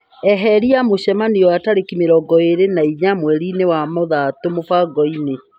eheria mũcemanio wa tarĩki mĩrongo ĩrĩ na inya mweri-ini wa mũthatũ mũbango-inĩ.